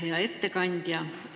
Hea ettekandja!